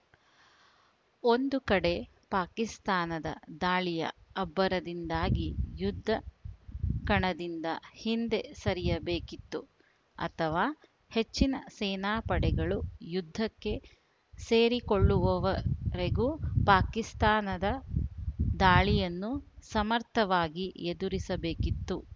ಒಂದು ಕಡೆ ಪಾಕಿಸ್ತಾನದ ದಾಳಿಯ ಅಬ್ಬರದಿಂದಾಗಿ ಯುದ್ಧ ಕಣದಿಂದ ಹಿಂದೆ ಸರಿಯಬೇಕಿತ್ತು ಅಥವಾ ಹೆಚ್ಚಿನ ಸೇನಾಪಡೆಗಳು ಯುದ್ಧಕ್ಕೆ ಸೇರಿಕೊಳ್ಳುವವರೆಗೆ ಪಾಕಿಸ್ತಾನದ ದಾಳಿಯನ್ನು ಸಮರ್ಥವಾಗಿ ಎದುರಿಸಬೇಕಿತ್ತು